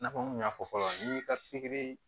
I n'a fɔ n kun y'a fɔ cogoya min na n'i ka pikiri